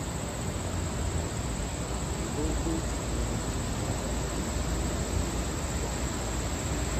Rịba okwu e ji mee ihe n’ebe a ama —‘ iru ogo nke ọma. ’